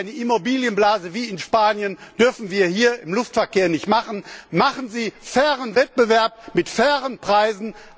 Eine Immobilienblase wie in Spanien dürfen wir hier im Luftverkehr nicht erzeugen. Sorgen Sie für fairen Wettbewerb mit fairen Preisen.